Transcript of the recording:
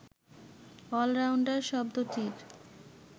all-rounder শব্দটির